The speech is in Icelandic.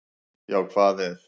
Já hvað ef!